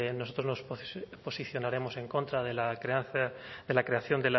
nosotros nos posicionaremos en contra de la creación